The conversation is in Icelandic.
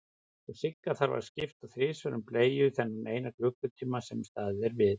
Og Sigga þarf að skipta þrisvar um bleiu þennan eina klukkutíma sem staðið er við.